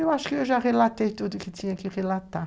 Eu acho que eu já relatei tudo que tinha que relatar.